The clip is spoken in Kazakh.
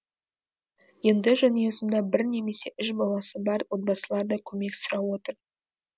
енді жанұясында бір немесе үш баласы бар отбасылар да көмек сұрап отыр